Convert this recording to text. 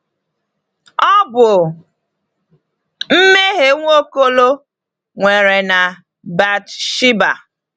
Ọ bụ mmehie Nwaokolo nwere na Bathsheba.